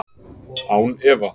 Án efa.